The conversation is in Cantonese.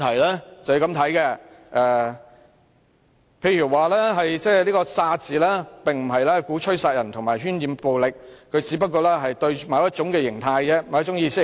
他說道，他口中的"殺"字，並非鼓吹殺人和喧染暴力，只是針對某種意識形態。